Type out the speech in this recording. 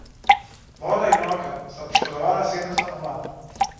Voda in ogenj sta poškodovala sedem stanovanj.